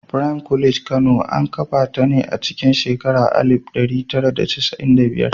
Prime College Kano, an kafa ta ne a cikin shekarar alif ɗari tara da casa’in da biyar.